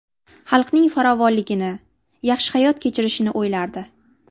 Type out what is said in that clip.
Xalqning farovonligini, yaxshi hayot kechirishini o‘ylardi.